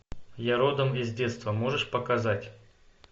я родом из детства можешь показать